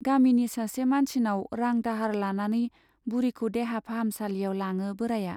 गामिनि सासे मानसिनाव रां दाहार लानानै बुरिखौ देहा फाहामसालियाव लाङो बोराया।